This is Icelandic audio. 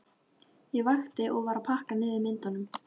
Ég vakti og var að pakka niður myndunum.